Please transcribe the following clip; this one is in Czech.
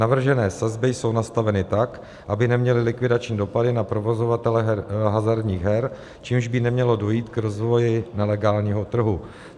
Navržené sazby jsou nastaveny tak, aby neměly likvidační dopady na provozovatele hazardních her, čímž by nemělo dojít k rozvoji nelegálního trhu.